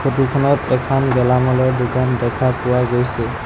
Photo খনত এখন গেলামালৰ দোকান দেখা পোৱা গৈছে।